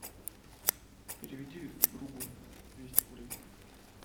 переведи другу двести рублей